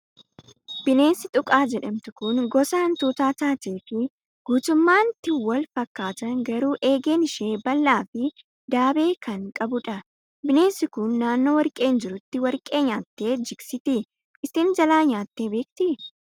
Bineensi xuqaa jedhamtu kan gosa hantuutaa taatee fi guutummaatti wal fakkaatan garuu eegeen ishee bal'aa fi daabee kan qabudha. Bineensi kun naannoo warqeen jirutti warqee nyaattee jigsiti. Isin jalaa nyaattee beektii?